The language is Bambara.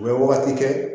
U bɛ wagati kɛ